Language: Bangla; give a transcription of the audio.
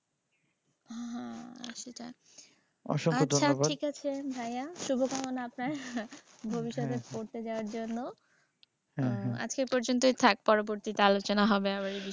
অসংখ্য ধন্যবাদ। আচ্ছা ঠিক আছে ভাইয়া শুভকামনা আপনার ভবিষ্যতে পড়তে যাওয়ার জন্য। হ্যাঁ হ্যাঁ। আজকে এই পর্যন্তই থাক। পরবর্তীতে আবার আলোচনা হবে এই বিষয়টা।